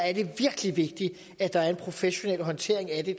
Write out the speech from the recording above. er det virkelig vigtigt at der er en professionel håndtering af det